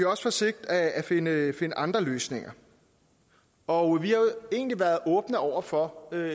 også forsøgt at finde andre løsninger og vi har jo egentlig været åbne over for at